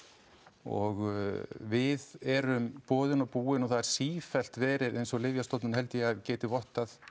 og við erum boðin og búin og það er sífellt verið eins og Lyfjastofnun held ég að geti vottað